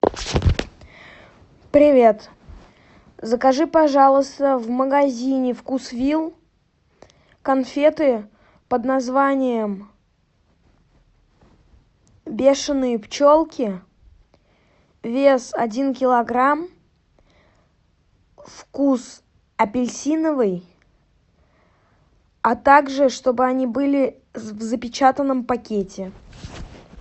привет закажи пожалуйста в магазине вкусвилл конфеты под названием бешеные пчелки вес один килограмм вкус апельсиновый а также чтобы они были в запечатанном пакете